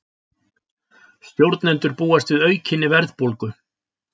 Stjórnendur búast við aukinni verðbólgu